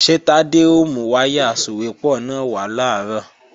Ṣé Tádé ó mú wáyà asòwépọ̀ náà wá làárọ̀?